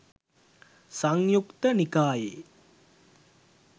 සංයුත්ත නිකායේ